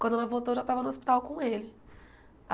Quando ela voltou, eu já estava no hospital com ele.